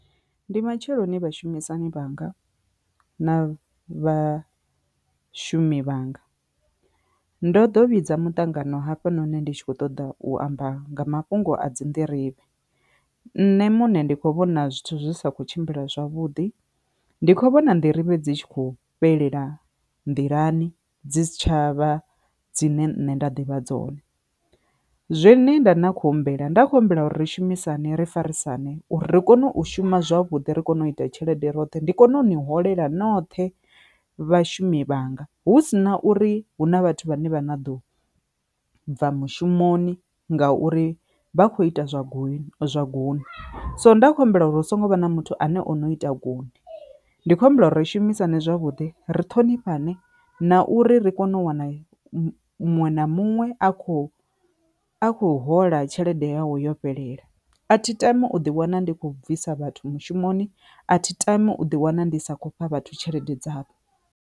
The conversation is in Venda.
Ndi matsheloni vhashumisani vhanga na vha shumi vhanga, ndo ḓo vhidza mutangano hafha noni ndi tshi kho ṱoḓa u amba nga mafhungo a dzi Nḓirivhe, nṋe muṋe ndi kho vhona zwithu zwi sa kho tshimbila zwavhuḓi, ndi kho vhona Nḓirivhe dzi tshi kho fhelela nḓilani dzi si tshavha dzine nṋe nda ḓivha dzone. Zwine nṋe nda na khou humbela nda kho humbela uri ri shumisani ri farisana uri ri kone u shuma zwavhuḓi ri kone u ita tshelede roṱhe ndi kone u ni holela noṱhe vhashumi vhanga hu sina uri hu na vhathu vhane vha na ḓo bva mushumoni ngauri vha kho ita zwa goni zwa gunwe, so nda khou humbela uri hu songo vha na muthu ane o no ita gunwe, ndi kho humbela uri ri shumisane zwavhuḓi ri ṱhonifhane na uri ri kone u u wana muṅwe na muṅwe a kho a khou hola tshelede yawu yo fhelela. A thi tami u ḓi wana ndi khou bvisa vhathu mushumoni a thi tami u ḓi wana ndi sa khou fha vhathu tshelede dzavho.